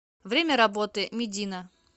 время работы медина